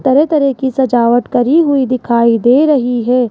तरह तरह की सजावट करी हुई दिखाई दे रही है।